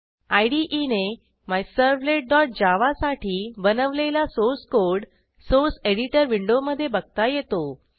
IDEने myservletजावा साठी बनवलेला सोर्स कोड सोर्स एडिटर विंडोमधे बघता येतो